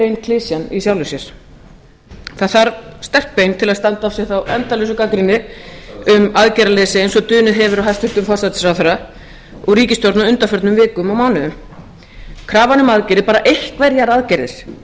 klisjan í sjálfu sér það þarf sterk bein til að standa af sér þá endalausu gagnrýni um aðgerðaleysi eins og dunið hefur á hæstvirtan forsætisráðherra og ríkisstjórn á undanförnum vikum og mánuðum krafan um aðgerðir bara einhverjar aðgerðir